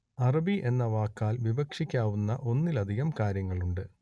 അറബി എന്ന വാക്കാൽ വിവക്ഷിക്കാവുന്ന ഒന്നിലധികം കാര്യങ്ങളുണ്ട്